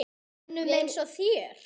Mönnum eins og þér?